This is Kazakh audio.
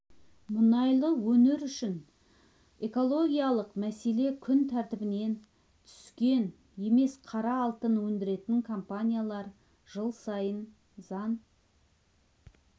мұнайлы өңір үшін экологиялық мәселе күн тәртібінен түскен емес қара алтын өндіретін компаниялар жыл сайын заң